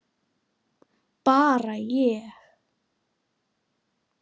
Bara ég.